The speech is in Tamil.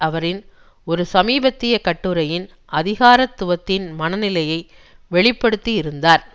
அவரின் ஒரு சமீபத்திய கட்டுரையில் அதிகாரத்துவத்தின் மனநிலையை வெளி படுத்தி இருந்தார்